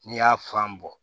N'i y'a fan bɔ